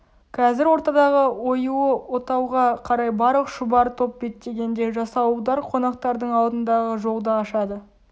қазір ортадағы оюлы отауға қарай барлық шұбар топ беттегенде жасауылдар қонақтардың алдындағы жолды ашады